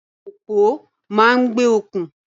Àwọn òpó máa ń gbé okùn.